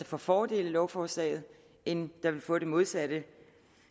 får fordel af lovforslaget end der vil får det modsatte